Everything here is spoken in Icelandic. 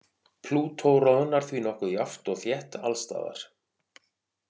Plútó roðnar því nokkuð jafnt og þétt alls staðar.